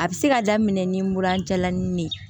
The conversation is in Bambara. A bɛ se ka daminɛ ni mura jalanin de ye